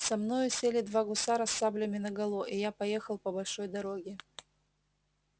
со мною сели два гусара с саблями наголо и я поехал по большой дороге